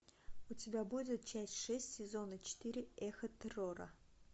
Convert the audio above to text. у тебя будет часть шесть сезона четыре эхо террора